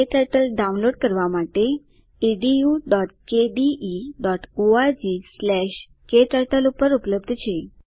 ક્ટર્ટલ download માટે httpedukdeorgkturtle ઉપર ઉપલબ્ધ છે